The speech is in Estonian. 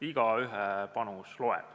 Igaühe panus loeb.